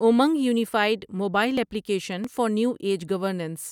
Umang unified mobile application for new age governance